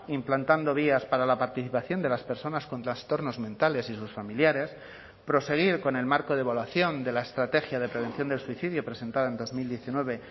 implantando vías para la participación de las personas con trastornos mentales y sus familiares proseguir con el marco de evaluación de la estrategia de prevención del suicidio presentada en dos mil diecinueve